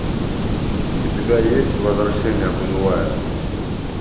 у тебя есть возвращение будулая